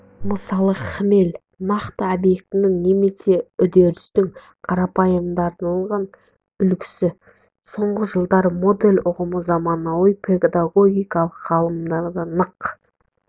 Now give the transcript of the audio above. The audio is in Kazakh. мысалы хмель нақты объектінің немее үдерістің қарапайымдандырылған үлгісі соңғы жылдары модель ұғымы заманауи педагогика ғылымында нық